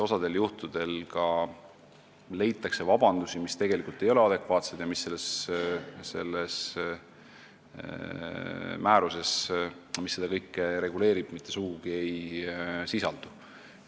Osal juhtudel leitakse vabandusi, mis tegelikult ei ole adekvaatsed ja mis selles määruses, mis seda kõike reguleerib, mitte sugugi ei sisaldu.